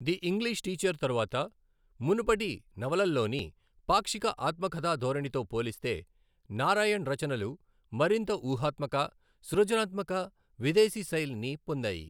The English teacher తరువాత, మునుపటి నవలల్లోని పాక్షిక ఆత్మకథా ధోరణితో పోలిస్తే నారాయణ్ రచనలు మరింత ఊహాత్మక, సృజనాత్మక విదేశీ శైలిని పొందాయి.